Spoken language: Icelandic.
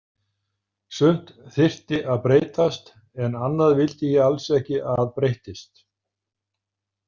Sumt þyrfti að breytast, en annað vildi ég alls ekki að breyttist.